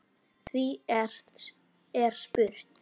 Því er spurt